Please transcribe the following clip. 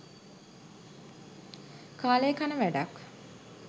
කාලේ කන වැඩක්